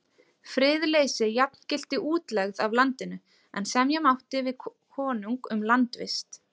Friðleysi jafngilti útlegð af landinu, en semja mátti við konung um landvist.